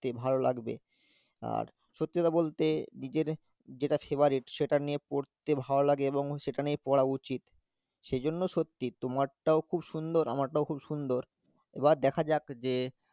তে ভালো লাগবে আর সত্যি কথা বলতে নিজের যেটা favourite সেটা নিয়ে পড়তে ভালো লাগে এবং সেটা নিয়ে পড়া উচিত, সেজন্য সত্যি তোমারটাও খুব সুন্দর আমারটাও খুব সুন্দর এবার দেখা যাক যে